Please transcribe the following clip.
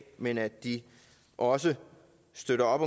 men at de også støtter op